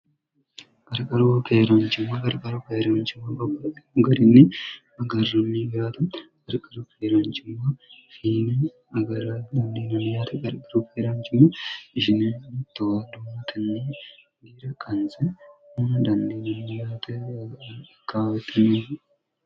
gariqaruokeeraanchimma gargara keeraanchimma bobba migarinni magarra mibaata gariqara feeraancimma fiini magar dandiinamiyte gariqaru feeraancimma ishinito dumotinni giira qanse m dandiinammiyteiktinni